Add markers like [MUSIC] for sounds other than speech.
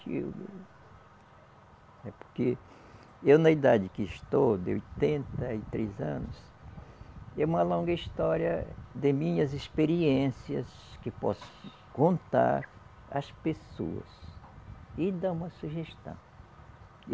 [UNINTELLIGIBLE] É porque eu, na idade que estou, de oitenta e três anos, é uma longa história de minhas experiências que posso contar às pessoas e dar uma sugestão.